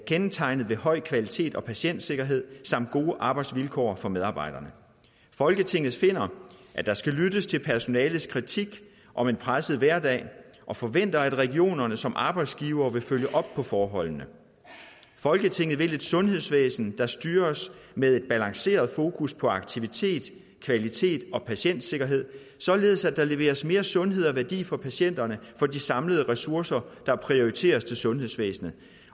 kendetegnet ved høj kvalitet og patientsikkerhed samt gode arbejdsvilkår for medarbejderne folketinget finder at der skal lyttes til personalets kritik om en presset hverdag og forventer at regionerne som arbejdsgivere vil følge op på forholdene folketinget vil et sundhedsvæsen der styres med et balanceret fokus på aktivitet kvalitet og patientsikkerhed således at der leveres mere sundhed og værdi for patienterne for de samlede ressourcer der prioriteres til sundhedsvæsenet